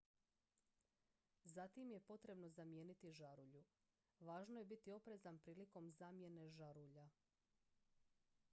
zatim je potrebno zamijeniti žarulju važno je biti oprezan prilikom zamjene žarulja